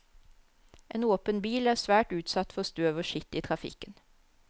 En åpen bil er svært utsatt for støv og skitt i trafikken.